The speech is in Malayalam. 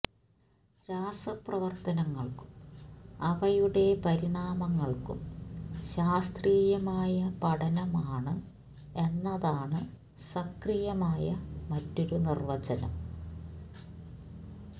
രാസപ്രവർത്തനങ്ങൾക്കും അവയുടെ പരിണാമങ്ങൾക്കും ശാസ്ത്രീയമായ പഠനമാണ് എന്നതാണ് സക്രിയമായ മറ്റൊരു നിർവചനം